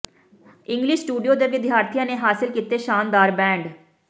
English Studio ਦੇ ਵਿਦਿਆਰਥੀਆਂ ਨੇ ਹਾਸਿਲ ਕੀਤੇ ਸ਼ਾਨਦਾਰ ਬੈਂਡ